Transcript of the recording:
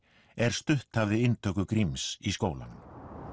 er stutt hafði að inntöku Gríms í skólann